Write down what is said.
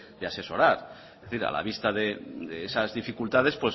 de asesorar es decir a la vista de esas dificultades